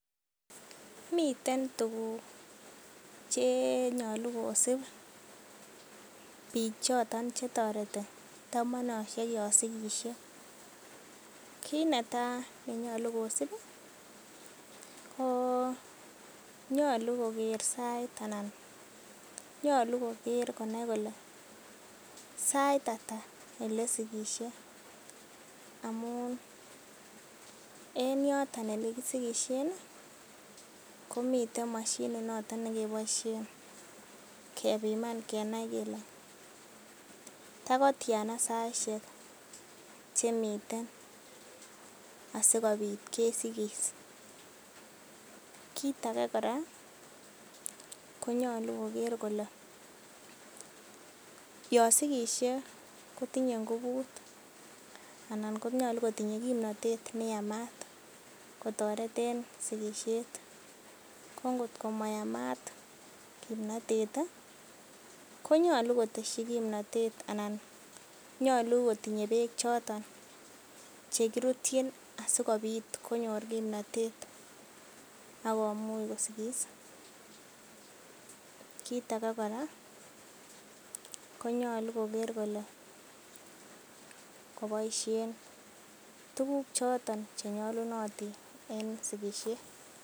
Miten tuguk che nyolu kosib biik choton che toreti yon sigisie. Kiit netai ne nyolukosib konyolu koger sait anan nyolu koger konai kole sait ata ole sigisie amun en yoton ele kisigisien komiten moshinit noton nekeboisien kebiman kenai kele tagotyana saishek chemiten asikobit kesigis. Kit age kora, konyolu koger kole yon sigisie kotinye ngubut anan nyolu kotinye kimnatet ne yamat kotoretne sigisiet. Ko ngotko mayamat kimnatet ii, konyolu kotesyi kimnatet, anan nyolu kotinye beek choton che kirutyin asikobit konyor kimnatet ak komuch kosigis. Kit age kora konyolu koger kole koboisien tuguk choton che nyolunotin en sigisiet.